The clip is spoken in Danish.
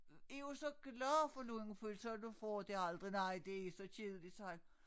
Er jo så glad for lungepølse og du får det aldrig nej det er så kedeligt sagde han